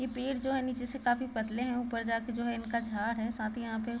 ये पेड़ जो है नीचे से काफी पतले है ऊपर जाके जो है इनका झाड़ है साथ ही यहाँ पे --